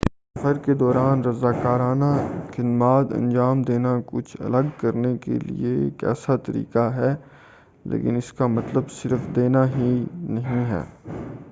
سفر کے دوران رضاکارانہ خدمات انجام دینا کچھ الگ کرنے کے لئے ایک اچھا طریقہ ہے لیکن اس کا مطلب صرف دینا ہی نہیں ہے